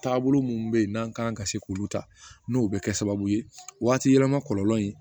Taabolo minnu bɛ yen n'an kan ka se k'olu ta n'o bɛ kɛ sababu ye waati yɛlɛma kɔlɔlɔ in